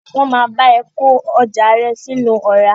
Wọ́n máa bá ẹ kó ọjà rẹ sínú ọ̀rá.